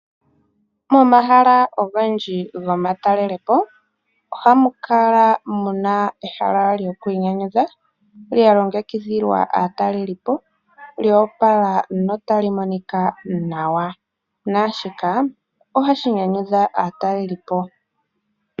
Momahala ogendji gomatalelepo ohamu kala mu na ehala lyokwiinanyudha lya longekidhilwa aatalelipo lyo opala notali monika nawa. Naa shika ohashi nyanyudha aatalelipo.